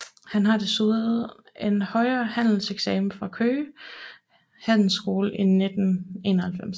Han har desuden en højere handelseksamen fra Køge Handelsskole i 1991